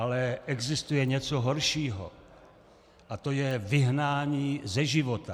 Ale existuje něco horšího a to je vyhnání ze života.